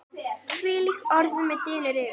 hvílíkt orð mig dynur yfir!